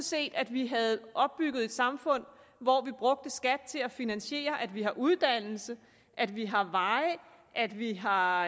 set at vi havde opbygget et samfund hvor vi brugte skat til at finansiere at vi har uddannelse at vi har veje at vi har